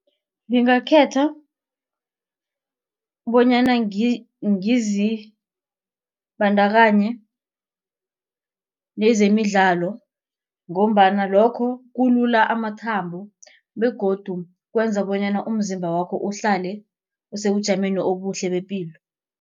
Ngingakhetha bonyana ngizibandakanye nezemidlalo. Ngombana lokho kulula amathambo begodu kwenza bonyana umzimba wakho uhlale osebujameni obuhle bepilo.